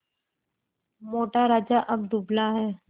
मोटा राजा अब दुबला है